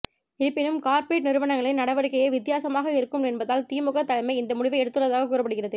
இருப்பினும் கார்ப்பரேட் நிறுவனங்களின் நடவடிக்கையே வித்தியாசமாக இருக்கும் என்பதால் திமுக தலைமை இந்த முடிவை எடுத்துள்ளதாக கூறப்படுகிறது